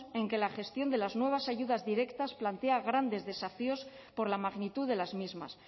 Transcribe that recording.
en que la gestión de las nuevas ayudas directas plantea grandes desafíos por la magnitud de las mismas